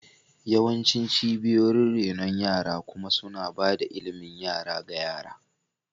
Yawancin cibiyoyin renon yara kuma suna ba da ilimin yara ga yara.